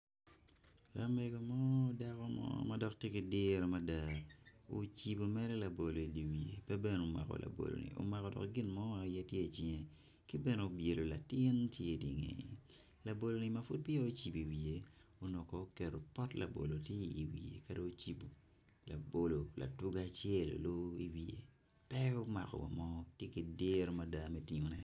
Lamego mo dako mo ma tye ki diro mada ocibo labolo i wiye omako gin mo aye i cinge ki bene obyelo latin tye i ngeye labolo-ni ma pud peya ocibo i dye wiye onongo kong oketo pot labolo ka dong ocibo.